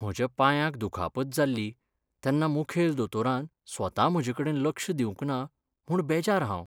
म्हज्या पांयाक दुखापत जाल्ली तेन्ना मुखेल दोतोरान स्वता म्हजेकडेन लक्ष दिवंक ना म्हूण बेजार हांव.